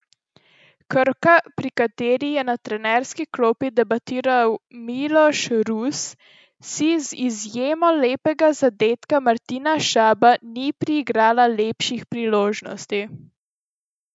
Krka, pri kateri je na trenerski klopi debitiral Miloš Rus, si z izjemo lepega zadetka Martina Šabana ni priigrala lepših priložnosti.